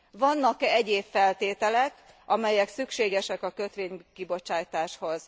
Vannak e egyéb feltételek, amelyek szükségesek a kötvénykibocsátáshoz?